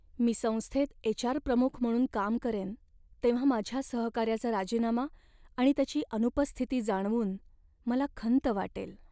मी संस्थेत एच.आर. प्रमुख म्हणून काम करेन तेव्हा माझ्या सहकाऱ्याचा राजीनामा आणि त्याची अनुपस्थिती जाणवून मला खंत वाटेल.